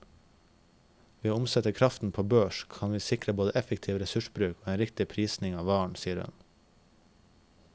Ved å omsette kraften på en børs kan vi sikre både effektiv ressursbruk og en riktig prising av varen, sier hun.